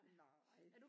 Nej